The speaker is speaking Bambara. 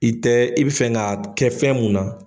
I tɛ i bɛ fɛ ka kɛ fɛn mun na.